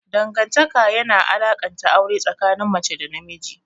Dangantaka yana alakanta aure tsakanin mace da namiji.